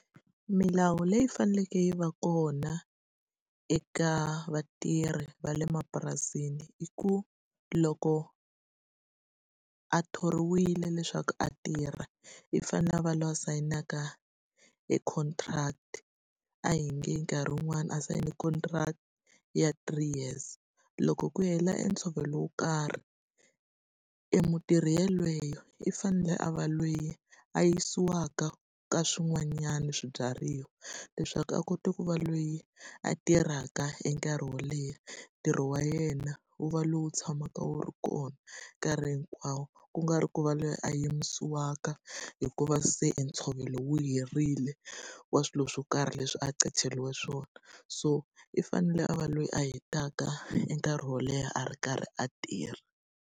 Milawu leyi faneleke yi va kona eka vatirhi va le mapurasini i ku, loko a thoriwile leswaku a tirha i fane a va la sayinaka e contract. A hi nge nkarhi wun'wani a sayine contract ya three years, loko ku hela e ntshovelo wo karhi, e mutirhi yoloye i fanele a va le a yisiwaka ka swin'wanyani swibyariwa. Leswaku a kota ku va loyi a tirhaka hi nkarhi wo leha, ntirho wa yena wu va lowu tshamaka wu ri kona nkarhi hinkwawo. Ku nga ri ku va loyi a yisiwaka hikuva se ntshovelo wu herile wa swilo swo karhi leswi a qachiriwe swona. So i fanele a va loyi a hetaka i nkarhi wo leha a ri karhi a tirha.